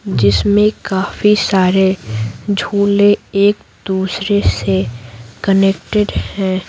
जिसमें काफी सारे झोले एक दूसरे से कनेक्टेड हैं।